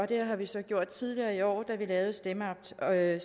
det har vi så gjort tidligere i år da vi lavede stemmeaftalen i